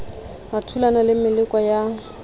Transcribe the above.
o thulana le meleko ya